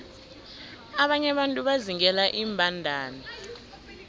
abanye abantu bazingela iimbandana